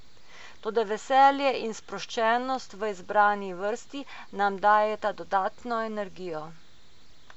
Toda veselje in sproščenost v izbrani vrsti nam dajeta dodatno energijo.